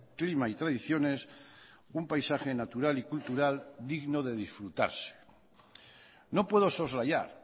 clima y tradiciones un paisaje natural y cultural digno de disfrutarse no puedo soslayar